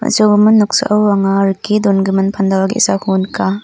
on·sogimin noksao anga rike dongimin pandal ge·sako nika.